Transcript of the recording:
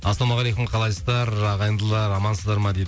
ассалаумағалейкум қалайсыздар ағайындылар амансыздар ма дейді